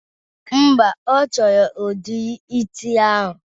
Mba, ọ chọrọ udiri isi ahụ